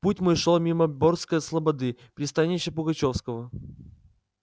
путь мой шёл мимо бердской слободы пристанища пугачёвского